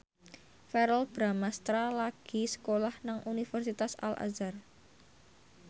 Verrell Bramastra lagi sekolah nang Universitas Al Azhar